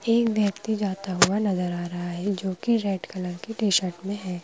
एक व्यक्ति जाता हुआ नजर आ रहा है जो कि रेड कलर की टी_शर्ट में है।